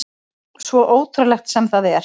Svo ótrúlegt sem það er.